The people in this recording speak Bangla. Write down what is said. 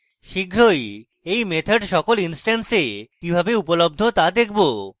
শীঘ্রই এই methods সকল ইনস্ট্যান্স we কিভাবে উপলব্ধ তা দেখবো